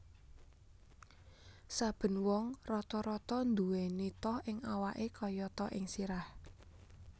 Saben wong rata rata nduweni toh ing awake kayata ing sirah